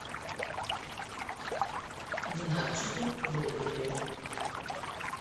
динарчике болдыреве